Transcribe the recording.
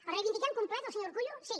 el reivindiquem complet el senyor urkullu sí